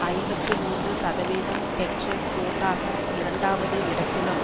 ஐம்பத்தி மூன்று சதவீதம் பெற்று கூட்டாக இரண்டாவது இடத்திலும்